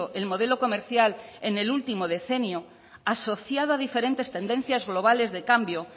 el modelo comercial en el último decenio asociado a diferentes tendencias globales de cambio